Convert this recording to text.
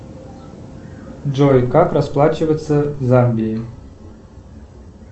джой как расплачиваться в замбии